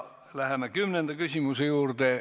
Läheme kümnenda küsimuse juurde.